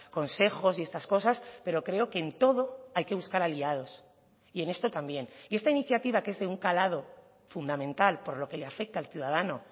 consejos y estas cosas pero creo que en todo hay que buscar aliados y en esto también y esta iniciativa que es de un calado fundamental por lo que le afecta al ciudadano